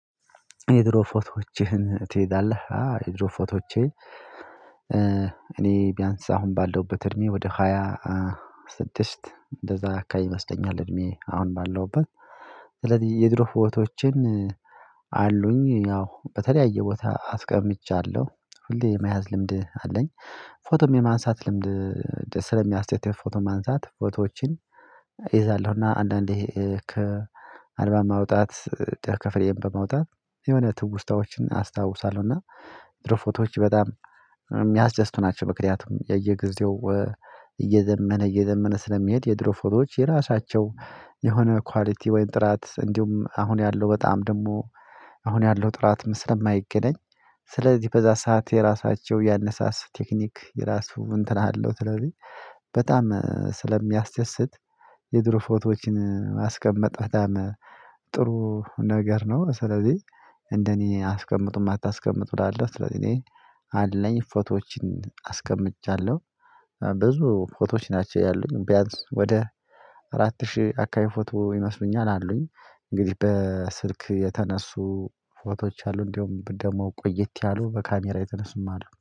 የድሮ ፎቶዎችህን ትይዛለህ? አዋ የድሮ ፎቶዎቼን እኔ ቢያንስ አሁን ባለውበት እድሜ ወደ ሃያ ስድስት እንደዛ አካባቢ ይመስለኛል እድሜዬ አሁን ባለውበት። ስለዚህ የድሮ ፎቶዎችን አሉኝ ያው በተለያየ ቦታ አስቀምጫለሁ ሁሌ የመያዝ ልምድ አለኝ። ፎቶም የማንሳት ልምድ ስለሚያስደስት ፎቶ ማንሳት ፎቶዎችን እይዛለሁና አንዳንዴ ከአርባ ማውጣት ደ ከክፍሌም በመውጣት የሆነ ትውስታዎችን አስታውሳለሁ እና የድሮፎቶዋች በጣም የሚያስደስቱ ናቸው። ምክንያቱም የእየጊዜው እየዘመነ እየዘመነ ስለሚሄድ የድሮ ፎቶዎች የራሳቸው የሆነ ኳሊቲ ወይም ጥራት እንዲሁም አሁን ያለው በጣም ደግሞ አሁን ያለው ጥራት ምስል የማይገናኝ ስለዚህ በዛ ሰዓት የራሳቸው ያነሳስ ቴክኒክ የራሱ እንትን አለው። ስለዚህ በጣም ስለሚያስደስት የድሮ ፎቶዎችን ማስቀመጥ በጣም ጥሩ ነገር ነው። ስለዚህ እንደኔ አስቀምጡም አታስቀምጡ እላለሁ ስለዚህ እኔ አለኝ ፎቶዎችን አስቀምጫለሁ። ፎቶዎች ናቸው ያሉኝ ቢያንስ ወደ አራት ሺህ አካባቢ ፎቶ ይመስሉኛል አሉኝ። እንግዲህ በስልክ የተነሱ ፎቶዎች አሉ እንደውም ደግሞ ቆየት ያሉ በካሜራ የተነሱም አሉ